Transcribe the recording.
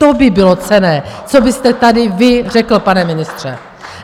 To by bylo cenné, co byste tady vy řekl, pane ministře.